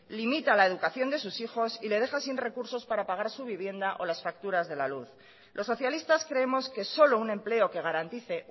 limita la educación de sus hijos y le deja sin recursos para pagar su vivienda o las facturas de la luz los socialistas creemos que solo un empleo que garantice